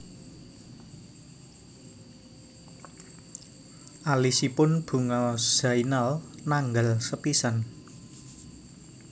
Alisipun Bunga Zainal nanggal sepisan